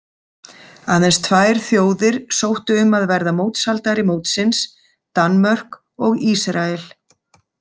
Aðeins tvær þjóðir sóttu um að verða mótshaldari mótsins, Danmörk og Ísrael.